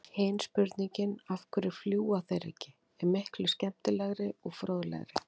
Hin spurningin, af hverju fljúga þeir ekki, er miklu skemmtilegri og fróðlegri!